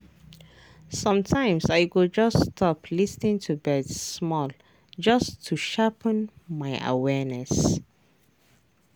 sometimes i go just stop lis ten to birds small just to sharpen my awareness.